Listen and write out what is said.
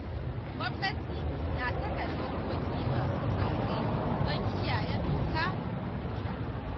Gwamnati na saka dokoki masu tsauri don kiyaye doka da oda.